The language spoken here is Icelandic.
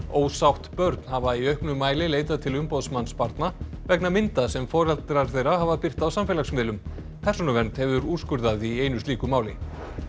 ósátt börn hafa í auknum mæli leitað til umboðsmanns barna vegna mynda sem foreldrar þeirra hafa birt á samfélagsmiðlum persónuvernd hefur úrskurðað í einu slíku máli